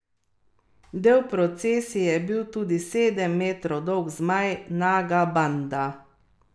Iranski vrhovni voditelj ajatola Ali Hamenej, ki bo imel zadnjo besedo pri sporazumu, je dogovor postavil pod vprašaj, ko je izjavil, da nič ni zavezujoče.